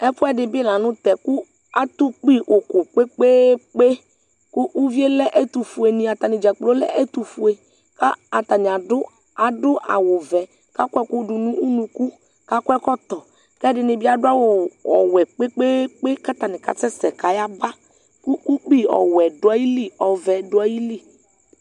ɛfoɛdi bi lantɛ kò ato ukpi òkò kpekpekpe kò uvie lɛ ɛtofueni atani dzakplo lɛ ɛtofue k'atani ado awu vɛ kò akɔ ɛkò do no unuku k'akɔ ɛkɔtɔ k'ɛdini bi ado awu wɛ kpekpekpe k'atani k'asɛ sɛ k'aya ba kò ukpi ɔwɛ do ayili ɔvɛ do ayili